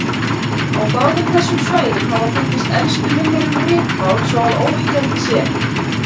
Á báðum þessum svæðum hafa fundist elstu minjar um ritmál svo að óyggjandi sé.